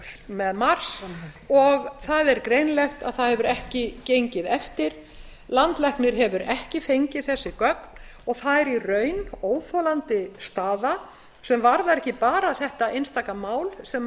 með mars og það er greinilegt að það hefur ekki gengið eftir landlæknir hefur ekki fengið þessi gögn og það er í raun óþolandi staða sem varðar ekki bara þetta einstaka mál sem ég